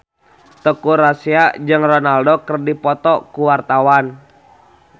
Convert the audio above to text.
Teuku Rassya jeung Ronaldo keur dipoto ku wartawan